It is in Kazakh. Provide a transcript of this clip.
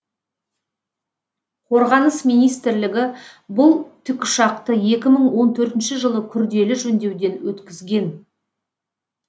қорғаныс министрлігі бұл тікұшақты екі мың он төртінші жылы күрделі жөндеуден өткізген